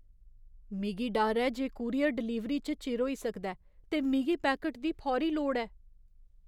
मिगी डर ऐ जे कूरियर डलीवरी च चिर होई सकदा ऐ, ते मिगी पैकट दी फौरी लोड़ ऐ।